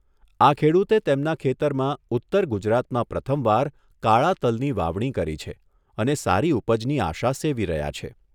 આ ખેડુતે તેમના ખેતરમાં ઉત્તર ગુજરાતમાં પ્રથમવાર કાળા તલની વાવણી કરી છે અને સારી ઉપજની આશા સેવી રહ્યા છે.